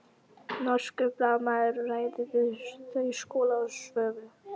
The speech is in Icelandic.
Norskur blaðamaður ræðir við þau Skúla og Svövu.